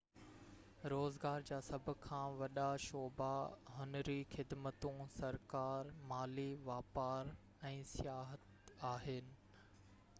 روزگار جا سڀ کان وڏا شعبا هنري خدمتون سرڪار مالي واپار ۽ سياحت آهن